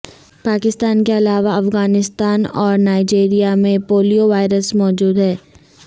پاکستان کے علاوہ افغانستان اور نائیجریا میں پولیو وائرس موجود ہے